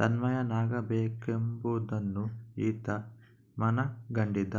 ತನ್ಮಯನಾಗಬೇಕಾಗುವುದೆಂಬುದನ್ನು ಈತ ಮನಗಂಡಿದ್ದ